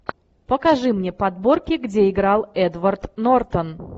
покажи мне подборки где играл эдвард нортон